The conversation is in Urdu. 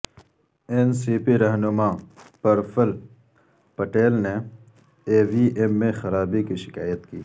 این سی پی رہنما پرفل پٹیل نے ای وی ایم میں خرابی کی شکایت کی